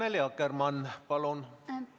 Annely Akkermann, palun!